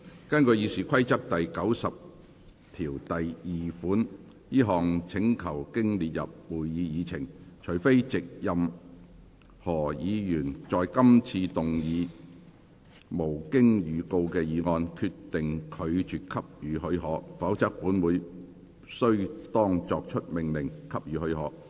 根據《議事規則》第902條，這項請求經列入會議議程，除非藉任何議員在今次會議動議無經預告的議案，決定拒絕給予許可，否則本會須當作已命令給予許可。